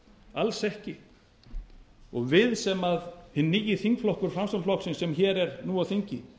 alls ekki við hinn nýi þingflokkur framsóknarflokksins sem hér er nú á þingi